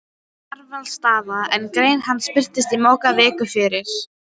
Kjarvalsstaða, en grein hans birtist í Mogga viku fyrr